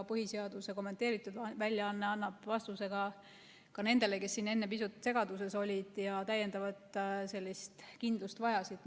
Põhiseaduse kommenteeritud väljaanne annab vastuse ka nendele, kes siin enne pisut segaduses olid ja täiendavat kindlust vajasid.